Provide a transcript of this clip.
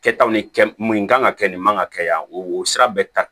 Kɛtaw ni kɛ mun kan ka kɛ nin man ka kɛ yan o sira bɛɛ ta